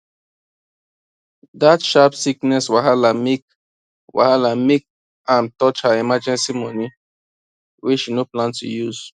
dat sharp sickness wahala make wahala make am touch her emergency money wey she no plan to use